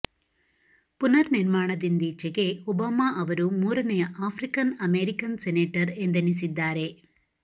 ಪುನರ್ ನಿರ್ಮಾಣದಿಂದೀಚೆಗೆ ಒಬಾಮಾ ಅವರು ಮೂರನೆಯ ಆಫ್ರಿಕನ್ ಅಮೇರಿಕನ್ ಸೆನೇಟರ್ ಎಂದೆನಿಸಿದ್ದಾರೆ